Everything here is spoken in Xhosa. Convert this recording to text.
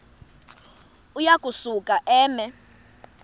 uya kusuka eme